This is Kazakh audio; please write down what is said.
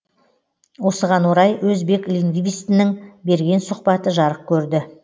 осыған орай өзбек лингвистінің берген сұхбаты жарық көрді